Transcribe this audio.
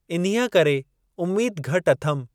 इन्हीअ करे उमीद घटि अथमि ।